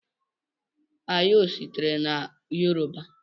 Ayo sitere na yoruba.